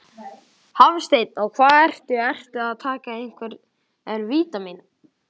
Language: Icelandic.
Hafsteinn: Og hvað ertu, ertu að taka einhver vítamín?